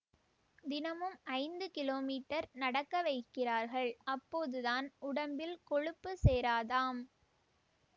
தினமும் ஐந்து கிலோமீட்டர் நடக்க வைக்கிறார்கள் அப்போதுதான் உடம்பில் கொழுப்பு சேராதாம்